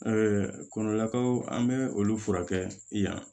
kɔnɔlakaw an bɛ olu furakɛ yan